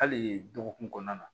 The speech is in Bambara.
Hali dɔgɔkun kɔnɔna na